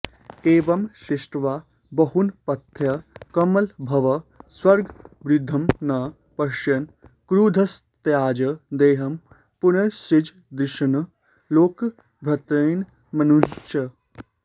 एवं सृष्ट्वा बहूनप्यथ कमलभवः सर्गवृद्धिं न पश्यन् क्रुद्धस्तत्याज देहं पुनरसृजदृषीन् लोकभर्त्तॄन् मनूंश्च